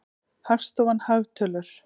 Hagstofan- hagtölur.